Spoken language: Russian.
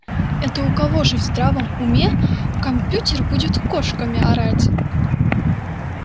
это у кого ж в здравом уме компьютер будет кошками орать